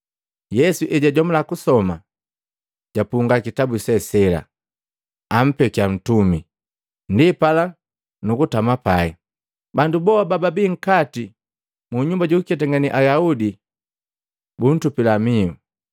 Yesu ejajomula kusoma, japunga kitabu se sela, ampekya ntumi, ndipala nukutama pai. Bandu boha bababi nkati mu nyumba jukuketangane Ayaudi butupila mihu.